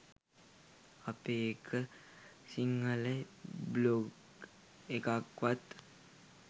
අපේ එක සිංහල බ්ලොග් එකක්වත්